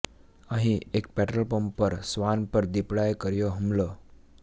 અહીં એક petrol pump પર શ્વાન પર દીપડાએ કર્યો હુમલો